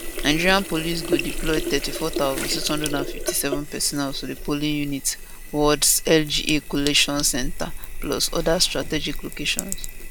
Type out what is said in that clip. nigeria police go deploy 34657 personnel to di polling units wardslga collation centres plus oda strategic locations